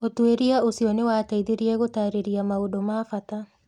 Ũtuĩria ũcio nĩ wateithirie gũtaarĩria maũndũ ma bata